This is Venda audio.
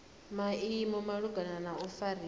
maimo malugana na u fariwa